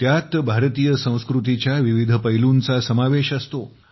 त्यात भारतीय संस्कृतीच्या विविध पैलूंचा समावेश असतो